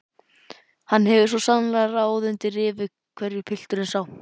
Hann hefur svo sannarlega ráð undir rifi hverju pilturinn sá!